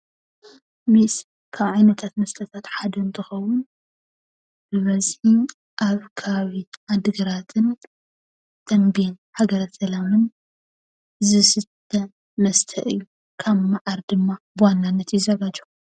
ሜስ ካብ ዓይነታት መስተ እቲ ሓደ እንትከውን ብበዝሒ ካብ ከባቢ ዓዲግራት፣ ተምቤን ፣ሃገረሰላምን ዝስተ መስተ እዩ፡፡ ካብ መዓር ድማ ብዋናነት ይዘጋጆ።